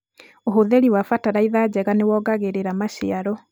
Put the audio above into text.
ũhũthĩri wa bataraitha njega nĩ woongagĩrĩra maciaro